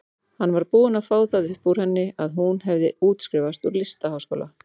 Hann var búinn að fá það upp úr henni að hún hefði útskrifast úr listaháskóla.